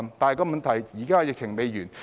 但問題是，現在疫情還未完結。